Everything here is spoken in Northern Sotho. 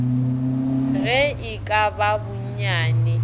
ge e ka ba bonnyane